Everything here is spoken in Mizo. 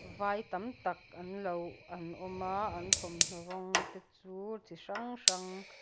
vai tak tak anlo an awm a an thawmhnaw rawng te chu chi hrang hrang--